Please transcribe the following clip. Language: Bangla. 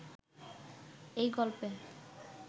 এ গল্পে